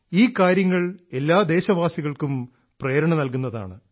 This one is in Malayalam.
ഈ കാര്യങ്ങൾ എല്ലാ ദേശവാസികൾക്കും പ്രേരണ നൽകുന്നതാണ്